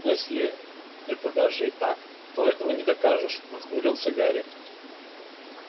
но если это даже и так то этого не докажешь нахмурился гарри